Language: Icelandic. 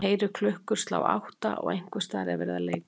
Hann heyrir klukkur slá átta og einhversstaðar er verið að leika